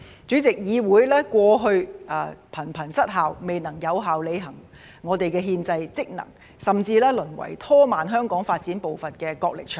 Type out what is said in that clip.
主席，議會過去頻頻失效，未能有效履行我們的憲制職能，甚至淪為拖慢香港發展步伐的角力場。